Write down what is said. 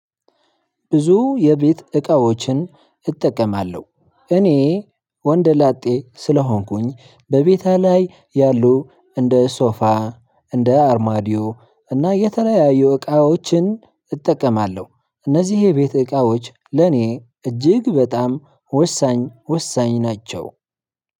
ብዙ የቤት እቃዎችን እጠቀማለሁ እኔ ወንደ ላጤ ስለሆንኩኝ በቤቴ ላይ ያሉ እንደ ሶፋ እንደ አርማዲዮ እና የተለያዩ እቃዎችን እጠቀማለሁ እነዚህ የቤት እቃዎች ለኔ እጅግ በጣም ወሳኝ ወሳኝ ናቸው።